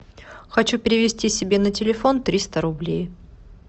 хочу перевести себе на телефон триста рублей